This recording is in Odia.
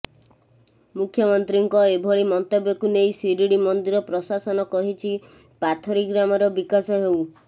ମୁଖ୍ୟମନ୍ତ୍ରୀଙ୍କ ଏଭଳି ମନ୍ତବ୍ୟକୁ ନେଇ ଶିରି଼ଡ଼ି ମନ୍ଦିର ପ୍ରଶାସନ କହିଛି ପାଥରୀ ଗ୍ରାମର ବିକାଶ ହେଉ